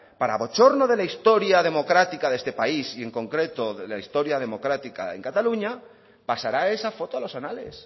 para bochorno de la historia democrática de este país y en concreto la historia democrática en cataluña pasará esa foto a los anales